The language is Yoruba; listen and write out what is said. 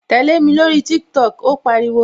Tẹlẹ mi lórí TikTok "ó pariwo